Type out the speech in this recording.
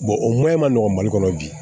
o maɲi ma nɔgɔ mali kɔnɔ bi